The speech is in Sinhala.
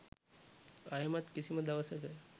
ආයෙමත් කිසිම දවසක